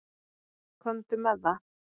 Komdu með það.